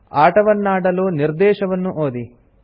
ಆಟವನ್ನಾಡಲು ನಿರ್ದೇಶವನ್ನು ಓದಿ